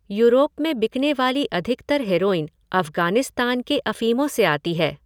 Europe में बिकने वाली अधिकतर हेरोइन अफ़गानिस्तान के अफ़ीमों से आती है।